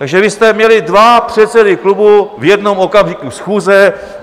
Takže vy jste měli dva předsedy klubu v jednom okamžiku schůze!